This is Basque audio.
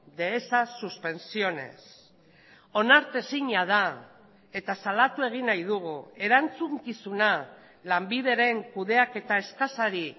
de esas suspensiones onartezina da eta salatu egin nahi dugu erantzukizuna lanbideren kudeaketa eskasari